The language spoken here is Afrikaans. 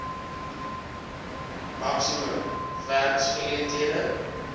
maksimum werks geleenthede